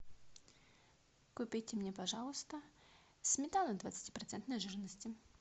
купите мне пожалуйста сметану двадцати процентной жирности